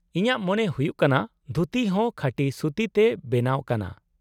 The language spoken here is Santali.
-ᱤᱧᱟᱹᱜ ᱢᱚᱱᱮ ᱦᱩᱭᱩᱜ ᱠᱟᱱᱟ ᱫᱷᱩᱛᱤ ᱦᱚᱸ ᱠᱷᱟᱸᱴᱤ ᱥᱩᱛᱤ ᱛᱮ ᱵᱮᱱᱟᱣ ᱠᱟᱱᱟ ᱾